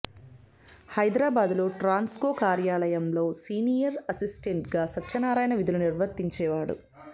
హైదరాబాద్లో ట్రాన్స్కో కార్యాలయంలో సీనియర్ అసిస్టెంట్గా సత్యనారాయణ విధులు నిర్వర్తించేవాడు